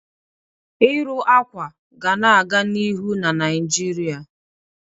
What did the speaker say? Ịrụ akwa akwa ga na-aga n'ihu na Naijiria.